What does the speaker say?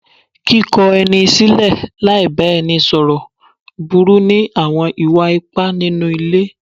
Kíkọ ẹni sílẹ̀ láì bá ẹni sọ̀rọ̀ burú ní àwọn ìwà ipá nínú ilé.